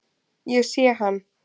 Ég sé hann.